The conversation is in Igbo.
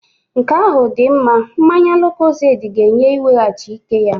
Nke ahụ dị mma. Mmanya lukozedi ga-enye iweghachi ike ya.